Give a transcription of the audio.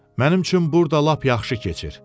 Mənim üçün burda lap yaxşı keçir.